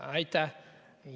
Aitäh!